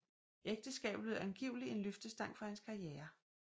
Ægteskabet blev angiveligt en løftestang for hans karriere